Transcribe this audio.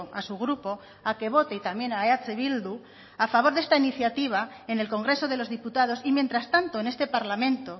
a su grupo a que vote y también a eh bildu a favor de esta iniciativa en el congreso de los diputados y mientras tanto en este parlamento